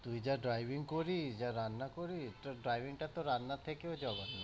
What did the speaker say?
তুই যা driving করিস, যা রান্না করিস, তোর driving টা তো রান্নার থেকেও জঘন্য।